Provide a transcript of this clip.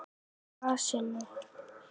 Á grasinu?